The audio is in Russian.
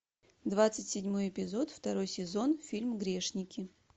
двадцать седьмой эпизод второй сезон фильм грешники